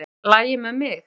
En það lagi með mig.